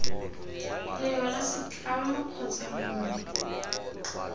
lengwe la setlamo kgotsa mongwe